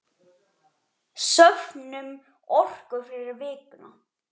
Söfnum orku fyrir vikuna.